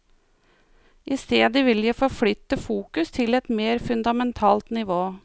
I stedet vil jeg forflytte fokus til et mer fundamentalt nivå.